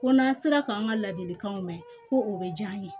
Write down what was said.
Ko n'an sera k'an ka ladilikanw mɛn ko o bɛ diya n ye